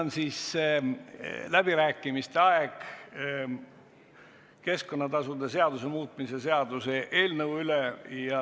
Nüüd on aeg läbi rääkida keskkonnatasude seaduse muutmise seaduse eelnõu üle.